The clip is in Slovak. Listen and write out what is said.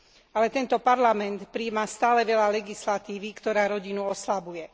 Ale tento Parlament prijíma stále veľa legislatívy, ktorá rodinu oslabuje.